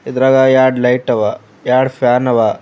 ಇದರಾಗ ಎರಡ ಲೈಟ ಅವ ಎರಡು ಫ್ಯಾನ್ ಅವ.